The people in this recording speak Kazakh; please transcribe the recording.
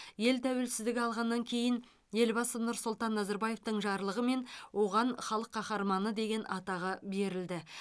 ел тәуелсіздік алғаннан кейін елбасы нұрсұлтан назарбаевтың жарлығымен оған халық қаһарманы деген атағы берілді